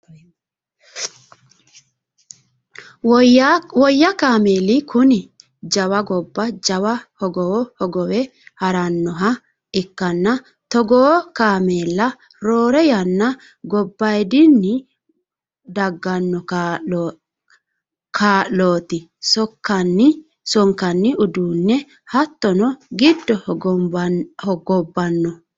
woyya kaameeli kuni jawa gobba jawa hogowo hogowe harannoha ikkanna, togoo kaameella roore yanna gobbaayiidinni dagganno kaa'lote sonkanni uduuni hattono gide hogobbanno.